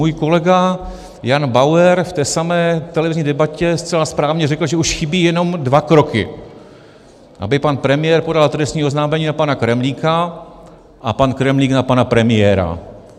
Můj kolega Jan Bauer v té samé televizní debatě zcela správně řekl, že už chybí jenom dva kroky, aby pan premiér podal trestní oznámení na pana Kremlíka a pan Kremlík na pana premiéra.